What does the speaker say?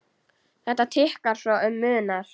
Þetta tikkar svo um munar!